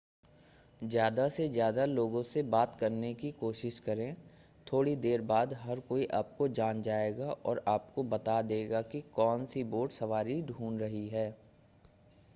ज़्यादा से ज़्यादा लोगों से बात करने की कोशिश करें थोड़ी देर बाद हर कोई आपको जान जाएगा और आपको बता देगा कि कौन-सी बोट सवारी ढूंढ़ रही है